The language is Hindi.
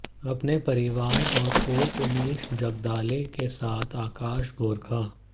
अपने परिवार और कोच उमेश जगदाले के साथ आकाश गोरखा